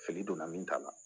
Fili donna min ta la